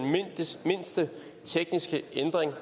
mindste tekniske ændring